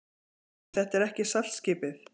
SKÚLI: Þetta er ekki saltskipið.